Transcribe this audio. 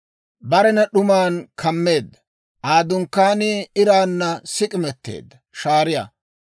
Barena d'uman kammeedda; Aa dunkkaanii iraanna sik'imeteedda shaariyaa.